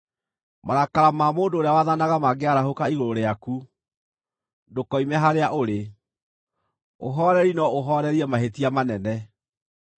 Marakara ma mũndũ ũrĩa wathanaga mangĩarahũka igũrũ rĩaku, ndũkoime harĩa ũrĩ; ũhooreri no ũhoorerie mahĩtia manene.